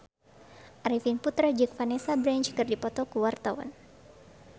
Arifin Putra jeung Vanessa Branch keur dipoto ku wartawan